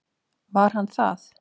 Var hann það?